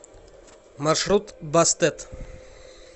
маршрут бастет